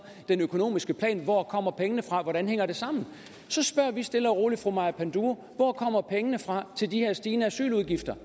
den økonomiske plan hvor kommer pengene fra og hvordan hænger det sammen så spørger vi stille og roligt fru maja panduro hvor kommer pengene fra til de her stigende asyludgifter